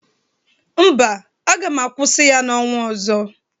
Mba, aga m akwụsị ya n'ọnwa ọzọ.